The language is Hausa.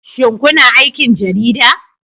Shin kuna aikin Jarida?